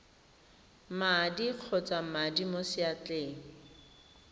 madi kgotsa madi mo seatleng